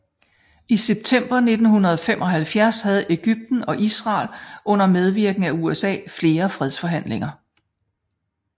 I september 1975 havde Egypten og Israel under medvirken af USA flere fredsforhandlinger